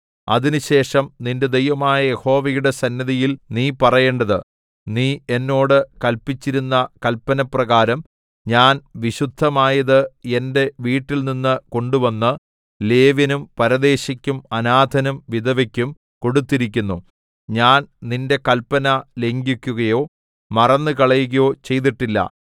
അതിനുശേഷം നിന്റെ ദൈവമായ യഹോവയുടെ സന്നിധിയിൽ നീ പറയേണ്ടത് നീ എന്നോട് കല്പിച്ചിരുന്ന കല്പനപ്രകാരം ഞാൻ വിശുദ്ധമായത് എന്റെ വീട്ടിൽനിന്നു കൊണ്ടുവന്ന് ലേവ്യനും പരദേശിക്കും അനാഥനും വിധവയ്ക്കും കൊടുത്തിരിക്കുന്നു ഞാൻ നിന്റെ കല്പന ലംഘിക്കുകയോ മറന്നുകളയുകയോ ചെയ്തിട്ടില്ല